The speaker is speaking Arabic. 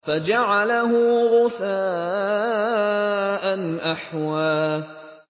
فَجَعَلَهُ غُثَاءً أَحْوَىٰ